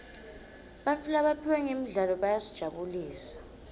bantfu labaphiwe ngemidlalo bayasijabulisa